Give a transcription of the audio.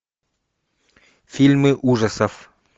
фильмы ужасов